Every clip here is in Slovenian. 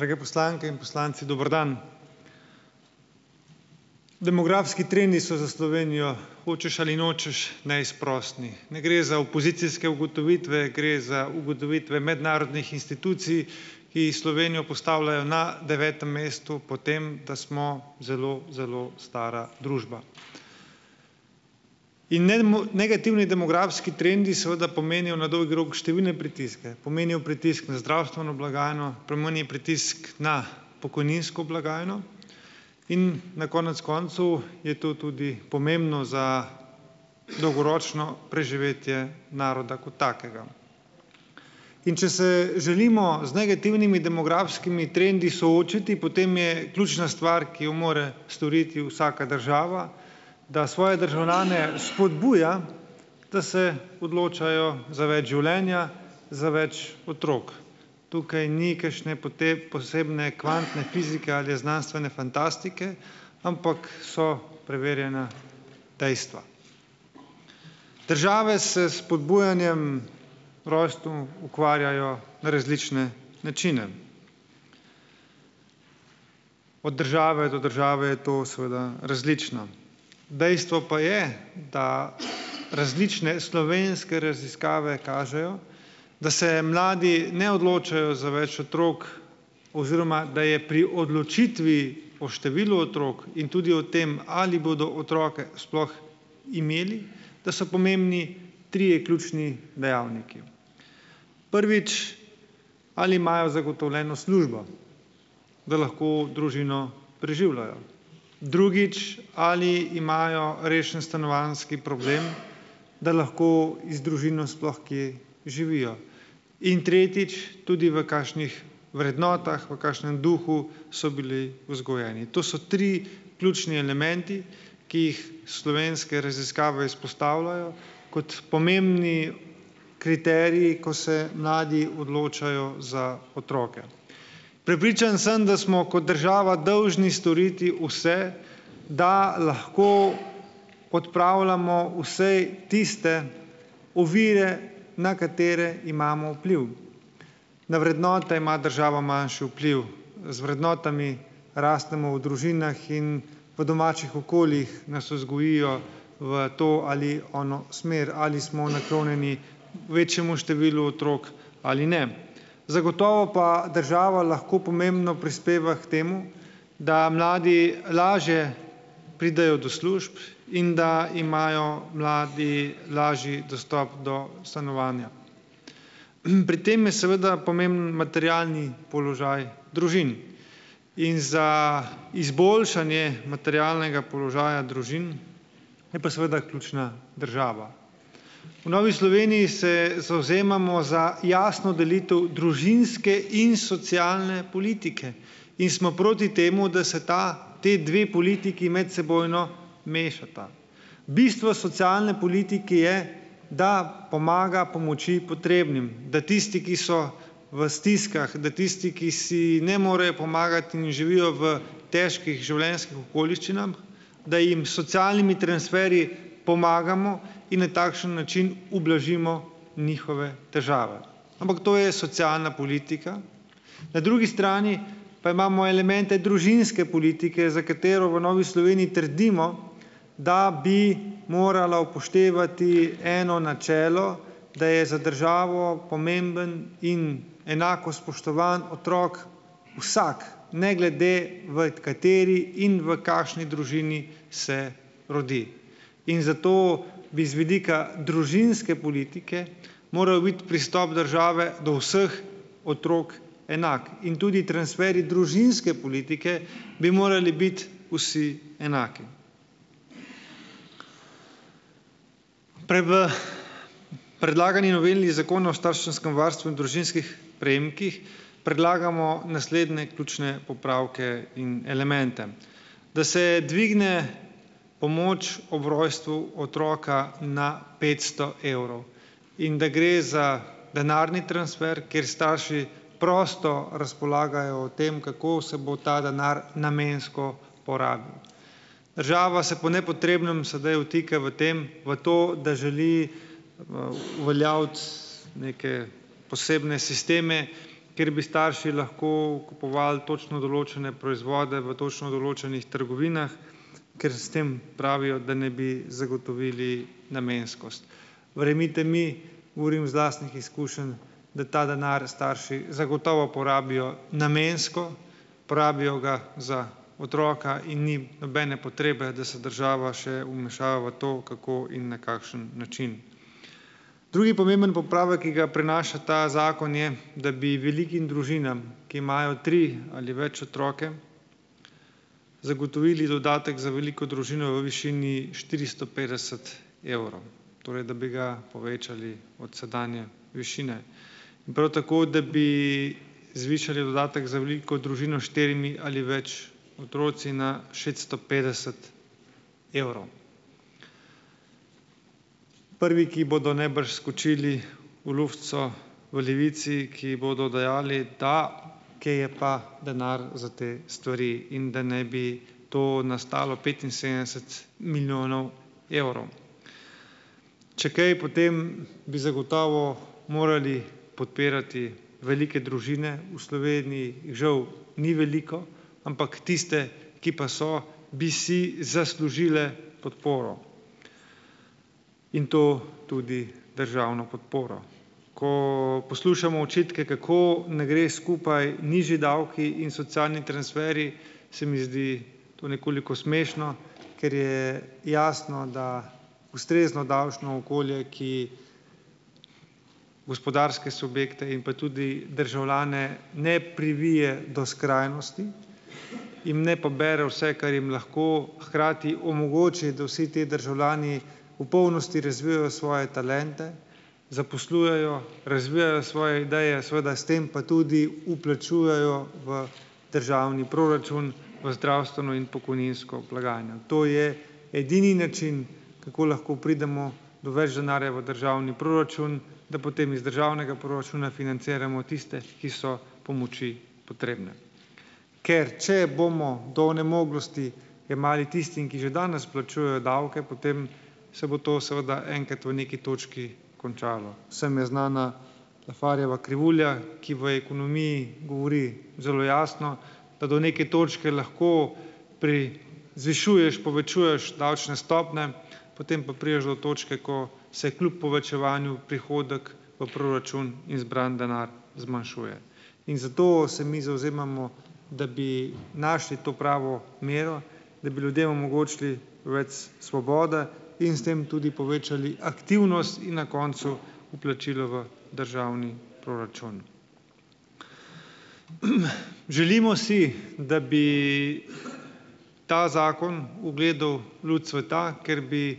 Drage poslanke in poslanci, dober dan! Demografski trendi so za Slovenijo, hočeš ali nočeš, neizprosni. Ne gre za opozicijske ugotovitve, gre za ugotovitve mednarodnih institucij, ki Slovenijo postavljajo na devetem mestu po tem, da smo zelo zelo stara družba. In negativni demografski trendi seveda pomenijo na dolgi rok številne pritiske, pomenijo pritisk na zdravstveno blagajno, pomeni pritisk na pokojninsko blagajno in na konec koncev je to tudi pomembno za dolgoročno preživetje naroda kot takega. In če se želimo z negativnimi demografskimi trendi soočiti, potem je ključna stvar, ki jo more storiti vsaka država, da svoje državljane spodbuja, da se odločajo za več življenja, za več otrok. Tukaj ni kakšne posebne kvantne fizike ali znanstvene fantastike, ampak so preverjena dejstva. Države se s spodbujanjem rojstev ukvarjajo na različne načine. Od države do države je to seveda različno. Dejstvo pa je, da različne slovenske raziskave kažejo, da se mladi ne odločajo za več otrok oziroma da je pri odločitvi o številu otrok in tudi o tem ali bodo otroke sploh imeli, da so pomembni trije ključni dejavniki. Prvič, ali imajo zagotovljeno službo, da lahko družino preživljajo. Drugič, ali imajo rešen stanovanjski problem, da lahko z družino sploh kje živijo. In tretjič, tudi v kakšnih vrednotah, v kakšnem duhu so bili vzgojeni. To so tri ključni elementi, ki jih slovenske raziskave izpostavljajo, kot pomembne kriterije, ko se mladi odločajo za otroke. Prepričan sem, da smo kot država dolžni storiti vse, da lahko odpravljamo vsaj tiste ovire, na katere imamo vpliv. Na vrednote ima država manjši vpliv. Z vrednotami rastemo v družinah in v domačih okoljih nas vzgojijo v to ali ono smer, ali smo naklonjeni večjemu številu otrok ali ne. Zagotovo pa država lahko pomembno prispeva k temu, da mladi lažje pridejo do služb in da imajo mladi lažji dostop do stanovanja. Pri tem je seveda pomemben materialni položaj družin. In za izboljšanje materialnega položaja družin je pa seveda ključna država. V Novi Sloveniji se zavzemamo za jasno delitev družinske in socialne politike. In smo proti temu, da se ta, ti dve politiki medsebojno mešata. Bistvo socialne politike je, da pomaga pomoči potrebnim, da tisti, ki so v stiskah, da tisti, ki si ne morejo pomagati in živijo v težkih življenjskih okoliščinah, da jim s socialnimi transferji pomagamo in na takšen način ublažimo njihove težave. Ampak to je socialna politika. Na drugi strani pa imamo elemente družinske politike, za katero v Novi Sloveniji trdimo, da bi morala upoštevati eno načelo, da je za državo pomemben in enako spoštovan otrok vsak, ne glede v kateri in v kakšni družini se rodi. In zato bi z vidika družinske politike moral biti pristop države do vseh otrok enak. In tudi transferji družinske politike bi morali biti vsi enaki. V predlagani noveli zakona o starševskem varstvu in družinskih prejemkih predlagamo naslednje ključne popravke in elemente: da se dvigne pomoč ob rojstvu otroka na petsto evrov in da gre za denarni transfer, kjer starši prosto razpolagajo o tem, kako se bo ta denar namensko porabil. Država se po nepotrebnem sedaj vtika v tem, v to, da želi, uveljaviti neke posebne sisteme, ker bi starši lahko kupovali točno določene proizvode v točno določenih trgovinah, ker s tem, pravijo, da naj bi zagotovili namenskost. Verjemite mi, govorim iz lastnih izkušenj, da ta denar starši zagotovo porabijo namensko, uporabijo ga za otroka in ni nobene potrebe, da se država še vmešava v to, kako in na kakšen način. Drugi pomemben popravek, ki ga prinaša ta zakon, je, da bi velikim družinam, ki imajo tri ali več otroke, zagotovili dodatek za veliko družino v višini štiristo petdeset evrov. Torej, da bi ga povečali od sedanje višine. In prav tako, da bi zvišali dodatek za veliko družino s štirimi ali več otroki na šeststo petdeset evrov. Prvi, ki bodo najbrž skočili v luft so v Levici, ki bodo dejali, da kje ja pa denar za te stvari in da naj bi to nas stalo petinsedemdeset milijonov evrov. Če kaj, potem bi zagotovo morali podpirati velike družine. V Sloveniji jih, žal, ni veliko, ampak tiste, ki pa so, bi si zaslužile podporo. In to tudi državno podporo. Ko poslušamo očitke, kako ne gre skupaj nižji davki in socialni transferji, se mi zdi to nekoliko smešno, ker je jasno, da ustrezno davčno okolje, ki gospodarske subjekte in pa tudi državljane ne privije do skrajnosti, jim ne pobere vse, kar jim lahko, hkrati omogoči, da vsi te državljani v polnosti razvijajo svoje talente, zaposlujejo, razvijajo svoje ideje, seveda, s tem pa tudi vplačujejo v državni proračun, v zdravstveno in pokojninsko blagajno. To je edini način, kako lahko pridemo do več denarja v državni proračun, da potem iz državnega proračuna financiramo tiste, ki so pomoči potrebne. Ker če bomo do onemoglosti jemali tistim, ki že danes plačujejo davke, potem se bo seveda enkrat v neki točki končalo. Vsem je znana Lafferjeva krivulja, ki v ekonomiji govori zelo jasno, da do neke točke lahko zvišuješ, povečuješ davčne stopnje, potem pa prideš do točke, ko se kljub povečevanju prihodek v proračun in zbran denar zmanjšuje. In zato se mi zavzemamo, da bi našli to pravo mero, da bi ljudem omogočili več svobode in s tem tudi povečali aktivnost in na koncu vplačila v državni proračun. Želimo si, da bi ta zakon ugledal luč sveta, ker bi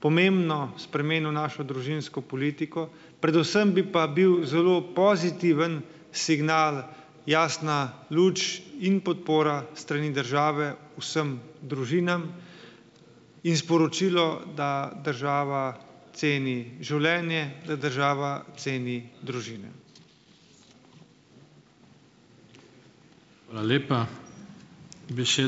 pomembno spremenil našo družinsko politiko, predvsem bi pa bil zelo pozitiven signal, jasna luč in podpora s strani države vsem družinam in sporočilo, da država ceni življenje, da država ceni družine.